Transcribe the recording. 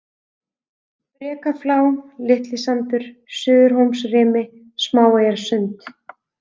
Brekaflá, Litlisandur, Suðurhólsrimi, Smáeyjasund